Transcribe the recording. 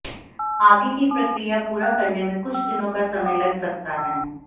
आगे की प्रक्रिया पूरा करने में कुछ दिनों का समय लग सकता है